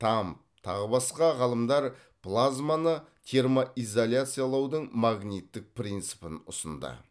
тамм тағы басқа ғалымдар плазманы термоизоляциялаудың магниттік принципін ұсынды